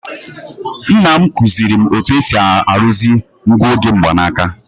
Nna m kụziiri m otú e si arụzi nguoge mgbanaka.